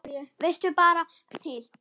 Vitiði bara til!